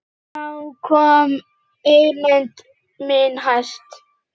Þá komst eymd mín hæst.